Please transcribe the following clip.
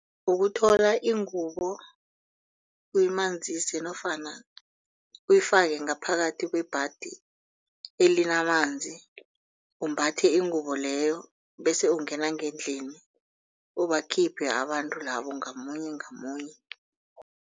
Ukuthola ingubo uyimanzise nofana uyifake ngaphakathi kwebhadi elinamanzi umbatha ingubo leyo bese ungena ngendlini ubakhiphe abantu labo ngamunye ngamunye.